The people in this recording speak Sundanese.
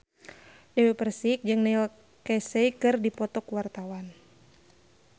Dewi Persik jeung Neil Casey keur dipoto ku wartawan